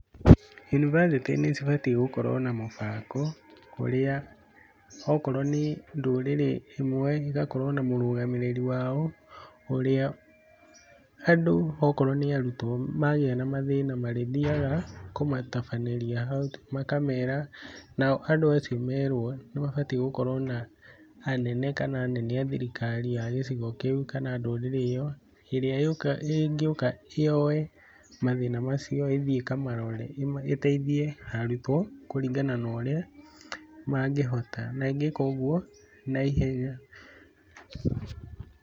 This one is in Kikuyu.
Yunibacĩtĩ nĩ cibatiĩ gũkorwo na mũbango ũrĩa okorwo nĩ ndũrĩrĩ ĩmwe ĩgakorwo na mũrũgamĩrĩri wao ũrĩa andũ okorwo nĩ arutwo magĩa na mathĩna marĩthiaga kũmatabanĩria hau makamera, nao andũ acio merwo nĩ mabatiĩ gũkorwo na anene kana anene a thirikari a gĩcigo kĩu kana ndũrĩrĩ ĩyo ĩrĩa ĩngĩũka yoye mathĩna macio ĩthiĩ ĩkamarore ĩteithie arutwo kũringana na ũrĩa mangĩhota na ĩngĩka ũguo na ihenya.